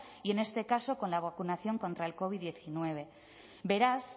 y en este caso con la vacunación contra el covid hemeretzi beraz